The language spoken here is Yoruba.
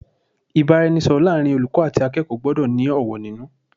Ìbáraẹnisọ̀rọ̀ láàrin olùkọ́ àti akẹ́kọ̀ọ́ gbọ́dọ̀ ní ọ̀wọ̀ nínú.